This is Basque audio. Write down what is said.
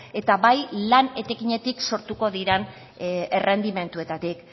eta bai lan etekinetik sortuko diren errendimenduetatik